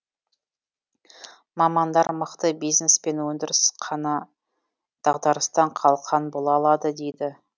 мамандар мықты бизнес пен өндіріс қана дағдарыстан қалқан бола алады дейді